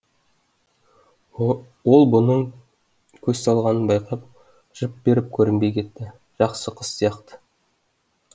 ол бұның көз салғанын байқап жып беріп көрінбей кетті жақсы қыз сияқты